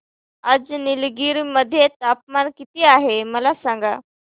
आज निलगिरी मध्ये तापमान किती आहे मला सांगा